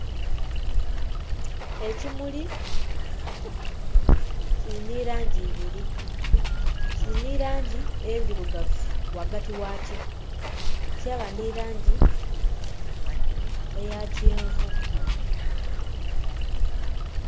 Ekimuli kiri nhi langi ibiri,. Kiri ni langi endhirugavu ghagati ghakyo kyaba nhi langi eya kyenvu.